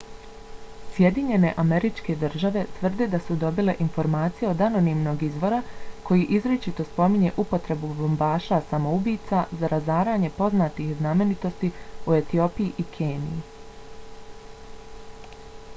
sjedinjene američke države tvrde da su dobile informacije od anonimnog izvora koji izričito spominje upotrebu bombaša samoubica za razaranje poznatih znamenitosti u etiopiji i keniji